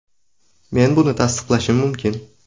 Men buni tasdiqlashim mumkin.